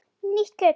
Nýtt kjöt!